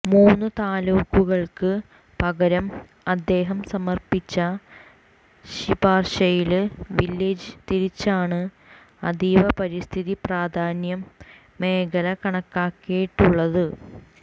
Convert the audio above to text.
മൂന്ന് താലൂക്കുകള്ക്ക് പകരം അദ്ദേഹം സമര്പ്പിച്ച ശിപാര്ശയില് വില്ലേജ് തിരിച്ചാണ് അതീവ പരിസ്ഥിതി പ്രാധാന്യ മേഖല കണക്കാക്കിയിട്ടുള്ളത്